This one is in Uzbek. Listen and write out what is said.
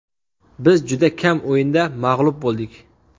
Biz juda kam o‘yinda mag‘lub bo‘ldik.